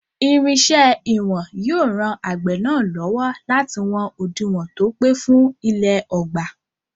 Irinṣẹ́ ìwọ̀n yóò ran àgbẹ̀ náà lọ́wọ́ láti wọn òdiwọ̀n tó pé fún ilẹ̀ ọgbà.